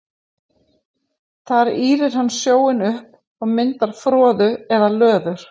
Þar ýrir hann sjóinn upp og myndar froðu eða löður.